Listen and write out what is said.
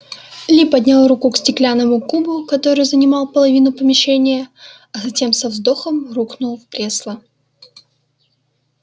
ли поднял руку к стеклянному кубу который занимал половину помещения а затем со вздохом рухнул в кресло